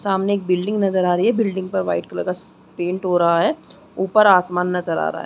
सामने एक बिल्डिंग नज़र आ रही है बिल्डिंग पर वाइट कलर स पेंट हो रहा है ऊपर आसमान नज़र आ रहा है।